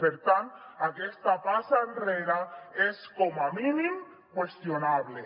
per tant aquesta passa enrere és com a mínim qüestionable